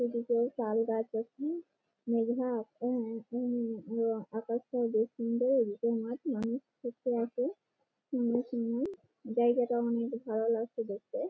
এদিকে তালগাছ আছে আকাশটাও বেশ সুন্দর জায়গাটাও অনেক ভালো লাগছে দেখতে-এ--